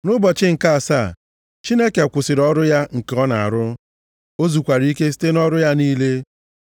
Nʼụbọchị nke asaa, Chineke kwụsịrị ọrụ ya nke ọ na-arụ, o zukwara ike site nʼọrụ ya niile.